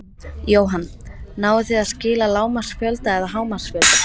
Jóhann: Náið þið að skila lágmarksfjölda eða hámarksfjölda?